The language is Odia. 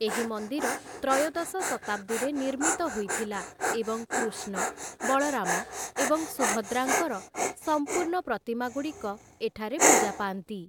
ଏହି ମନ୍ଦିର ତ୍ରୟୋଦଶ ଶତାବ୍ଦୀରେ ନିର୍ମିତ ହୋଇଥିଲା, ଏବଂ କୃଷ୍ଣ, ବଳରାମ ଏବଂ ସୁଭଦ୍ରାଙ୍କର ସମ୍ପୂର୍ଣ୍ଣ ପ୍ରତିମାଗୁଡ଼ିକ ଏଠାରେ ପୂଜା ପାଆନ୍ତି ।